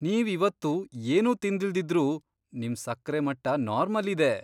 ನೀವ್ ಇವತ್ತು ಏನೂ ತಿಂದಿಲ್ದಿದ್ರೂ ನಿಮ್ ಸಕ್ರೆ ಮಟ್ಟ ನಾರ್ಮಲ್ ಇದೆ!